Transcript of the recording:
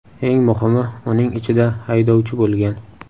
Eng muhimi uning ichida haydovchi bo‘lgan.